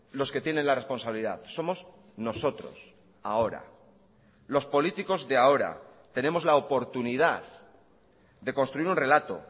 los que tienen la responsabilidad somos nosotros ahora los políticos de ahora tenemos la oportunidad de construir un relato